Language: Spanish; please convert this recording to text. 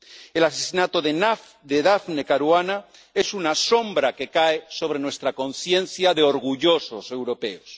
El asesinato de Daphne Caruana es una sombra que cae sobre nuestra conciencia de orgullosos europeos.